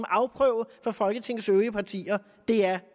afprøve af folketingets øvrige partier det er